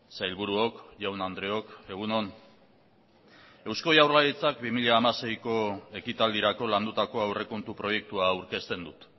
sailburuok jaun andreok egun on eusko jaurlaritzak bi mila hamaseiko ekitaldirako landutako aurrekontu proiektua aurkezten dut